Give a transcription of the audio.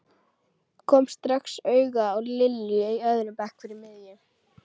Kom strax auga á Lilju á öðrum bekk fyrir miðju.